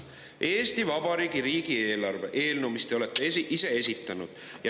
Eesti Vabariigi riigieelarve eelnõu te olete ise esitanud.